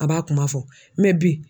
A b'a kuma fɔ bi